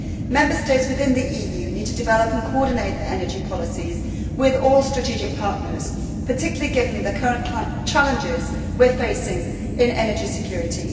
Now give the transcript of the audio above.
Member States within the EU need to develop and coordinate their energy policies with all strategic partners, particularly given the current challenges we are facing in energy security.